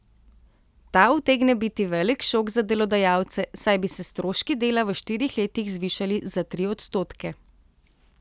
Ta utegne biti velik šok za delodajalce, saj bi se stroški dela v štirih letih zvišali za tri odstotke.